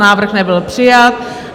Návrh nebyl přijat.